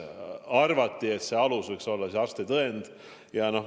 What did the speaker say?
Arvati, et selle alus võiks olla arstitõend.